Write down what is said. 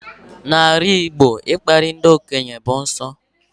N'ala Igbo, ịkparị ndị okenye bụ nsọ